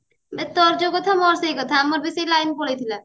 ଏ ତୋର ଯୋଉ କଥା ମୋର ସେଇ କଥା ଆମର ବି ସେଇ ଲାଇନ ପଳେଈ ଥିଲା